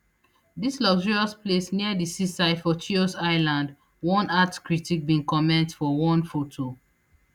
dis luxurious place near di seaside for chios island one art critic bin comment for one foto